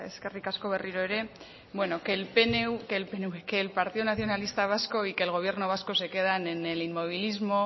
eskerrik asko berriro ere bueno que el partido nacionalista vasco y que el gobierno vasco se quedan en el inmovilismo